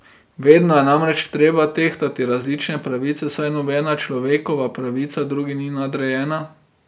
Vedno je namreč treba tehtati različne pravice, saj nobena človekova pravica drugi ni nadrejena.